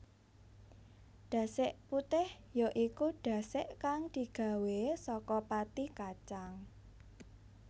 Dasik putih ya iku dasik kang digawé saka pati kacang